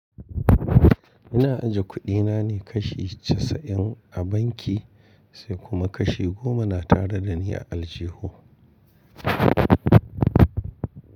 Ina ajiye kuɗina ne kashi casa’in a banki, sai kuma kashi goma na tare da ni a aljihu.